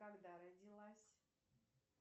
когда родилась